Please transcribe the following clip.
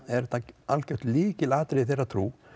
er þetta algjört lykilatriði í þeirra trú